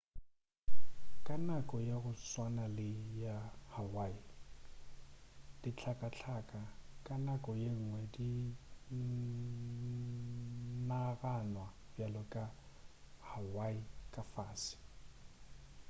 ka nako ya go tswana le ya hawaii dihlakahlaka ka nako yengwe di naganwa bjale ka hawaii ka fase